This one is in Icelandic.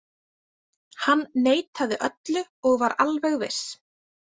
Hann neitaði öllu og var alveg viss.